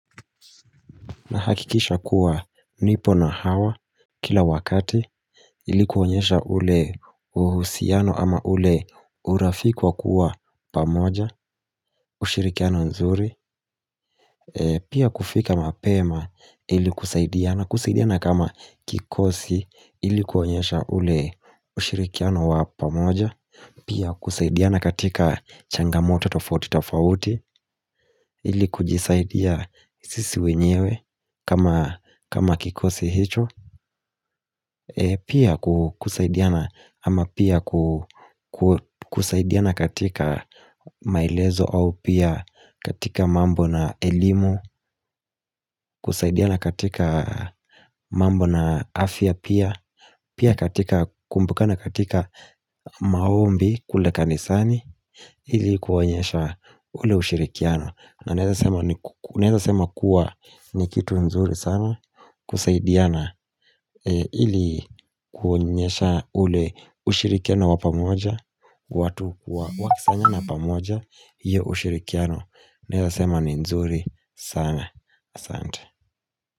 Nahakikisha kuwa nipo na hawa kila wakati ili kuonyesha ule uhusiano ama ule urafiki wa kuwa pamoja ushirikiano nzuri Pia kufika mapema ili kusaidiana kusaidiana kama kikosi ili kuonyesha ule ushirikiano wa pamoja Pia kusaidiana katika changamoto tofauti tofauti ili kujisaidia sisi wenyewe kama kikosi hicho Pia kusaidiana ama pia kusaidiana katika maelezo au pia katika mambo na elimu kusaidiana katika mambo na afya pia Pia katika kumbukana katika maombi kule kanisani ili kuonyesha ule ushirikiano na naeza sema kuwa ni kitu nzuri sana kusaidiana ili kuonyesha ule ushirikiano wa pamoja watu kuwa wakisanyana pamoja hiyo ushirikiano Naeza sema ni nzuri sana asante.